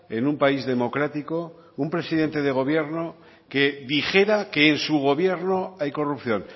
en un país democrático un presidente de gobierno que dijera que en su gobierno hay corrupción